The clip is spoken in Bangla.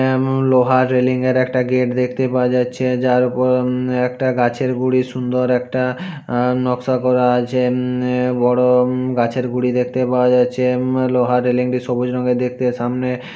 এমম লোহার রেলিঙে র একটা গেট দেখতে পাওয়া যাচ্ছে। যার ওপরে একটা গাছের গুড়ি সুন্দর একটা নকশা করা আছে। এমম বড় উম গাছের গুড়ি দেখতে পাওয়া যাচ্ছে। উম লোহার রেলিং টি সবুজ রঙের দেখতে। সামনে